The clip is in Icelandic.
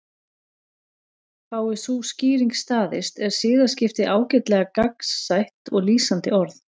Fái sú skýring staðist er siðaskipti ágætlega gagnsætt og lýsandi orð.